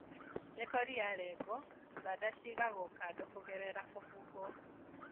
Mĩkori yalengwo thanda cigagwo kando kũgerera kũhuhwo.